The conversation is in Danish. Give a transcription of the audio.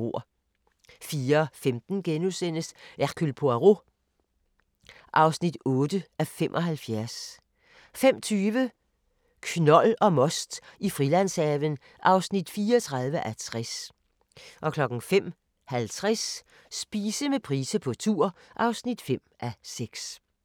04:15: Hercule Poirot (8:75)* 05:20: Knold og most i Frilandshaven (34:60) 05:50: Spise med Price på tur (5:6)